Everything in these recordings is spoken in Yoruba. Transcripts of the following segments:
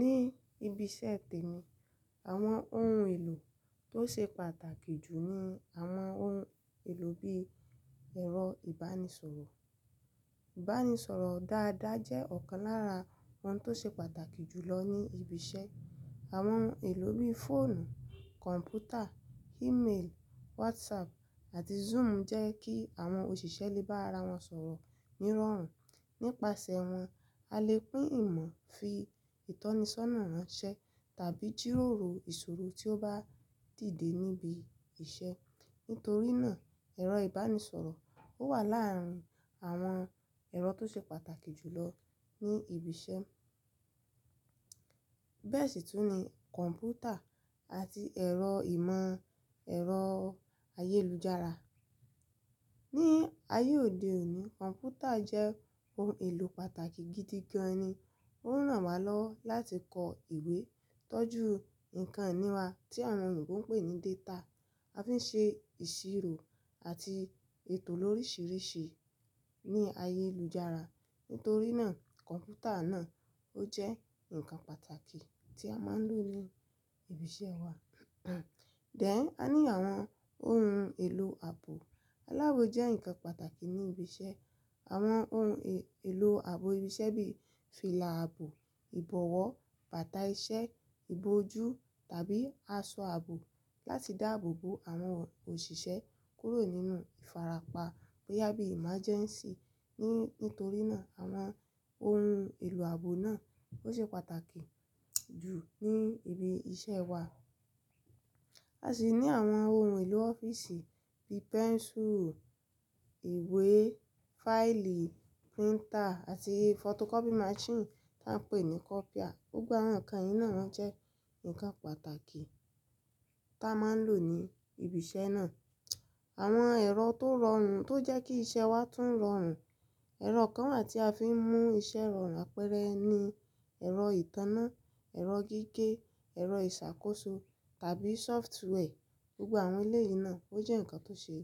Ní ibi iṣẹ́ tèmi, àwọn ohun èlò tó ṣe pàtàkì jù ni àwọn ohun èlò bí ẹ̀rọ ìbánisọ̀rọ̀. Ìbánisọ̀rọ̀ dáadáa jẹ́ ọ̀kan lára àwọn tó ṣe pàtàkì jù lọ ní ibi iṣẹ́. Àwọn ohun èlò bí fóònù, kọ̀ǹpútà, email, WhatsApp àti Zoom jẹ́ kí àwọn òṣìṣẹ́ lè bá ara wọn sọ̀rọ̀ ní ìrọ̀rùn. Nípasẹ̀ wọn, a lè pín ìmọ̀, fi ìtọ́nisọ́nà ránṣẹ́ tàbí jíróoro ìṣòro tí ó bá dìde níbi iṣẹ́. Nítorí náà, ẹ̀rọ ìbánisọ̀rọ̀ ó wà láàárín àwọn ẹ̀rọ tó ṣe pàtàkì jù lọ ní ibi iṣẹ́. Bẹ́ẹ̀ sì tún ní kọ̀ǹpútà àti ẹ̀rọ ìmọ̀ ẹ̀rọ ayélujára. Ni ayé òde òní, kọ̀ǹpútà jẹ́ ohun èlò pàtàkì gidi gan-an ni. Ó ń ràn wá lọ́wọ́ láti kọ ìwé, tọ́jú nǹkan iní wa tí àwọn èyìbó n pè ní data. A fi ṣe ìṣirò àti ètò lóríṣiríṣi ní ayélujára. Nítorí náà, kọ̀ǹpútà náà ó jẹ́ nǹkan pàtàkì tí a máa ń lò ní ibi iṣẹ́ wa. Dẹ̀n, a ní àwọn ohun èlò ààbò. Alábò jẹ́ nǹkan pàtàkì ní ibi iṣẹ́. Àwọn ohun èlò ààbò ibi iṣẹ́ bí fìlà ààbò, ìbọ̀wọ́, bàtà iṣẹ́, ìbò ojú tàbí aṣọ ààbò láti dáàbò bo àwọn òṣìṣẹ́ kúrò nínú ìfarapa bóyá bí emergency. Ni, nítorí náà àwọn ohun èlò ààbò náà ó ṣe pàtàkì jù ní ibi iṣẹ́ wa. A sì ní àwọn ohun èlò ọ́fíìsì bí pẹ́nsùrù, ìwé, fáìlì, printer àti photocopy machine tí à ń pè ní kopịa. Gbogbo àwọn nǹkan yìí náà máa ń jẹ́ ǹkan pàtàkì tí a máa ń lò ní ibi iṣẹ́ náà. Àwọn ẹ̀rọ tó rọrùn tó jẹ́ kí iṣẹ́ wa tún rọrùn. Ẹ̀rọ kan wà ti a fi ń mú iṣẹ́ rọrùn apẹ́rẹ́ ni ẹ̀rọ ìtanná, ẹ̀rọ gígé, ẹ̀rọ ìṣàkóso tàbí software. Gbogbo àwọn ilé yìí náà ó jẹ́ ǹkan tó ṣe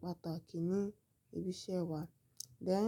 pàtàkì ní ibi iṣẹ́ wa. Dẹ̀